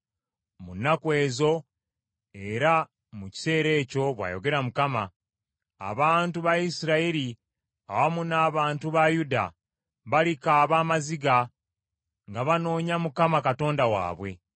“Mu nnaku ezo, era mu kiseera ekyo,” bw’ayogera Mukama , “abantu ba Isirayiri awamu n’abantu ba Yuda balikaaba amaziga nga banoonya Mukama Katonda waabwe.